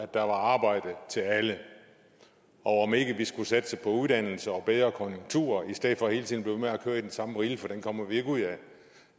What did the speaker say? der var arbejde til alle og om ikke vi skulle satse på uddannelse og bedre konjunkturer i stedet for hele tiden at med at køre i den samme rille for den kommer vi ikke ud af